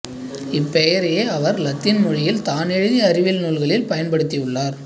இப்பெயரையே அவர் இலத்தீன் மொழியில் தான் எழுதிய அறிவியல் நூல்களில் பயன்படுத்தியுள்ளார்